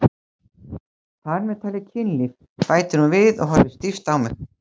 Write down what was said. Þar með talið kynlíf, bætir hún við og horfir stíft á mig.